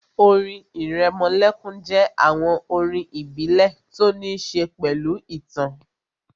Orin ìrẹmọlẹ́kún jẹ́ àwọn orin ìbílẹ̀ tó ní ṣe pẹ̀lú ìtàn